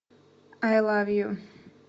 ай лав ю